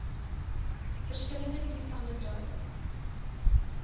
verskillende toestande dui